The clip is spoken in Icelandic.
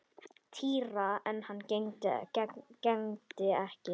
Týra en hann gegndi ekki.